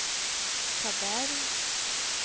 Taberg